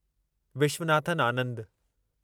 Viswanathan Anand